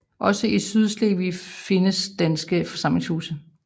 Også i Sydslesvig findes danske forsamlingshuse